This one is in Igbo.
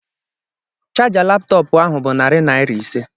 Chaja laptọọpụ ahụ bụ narị naira ise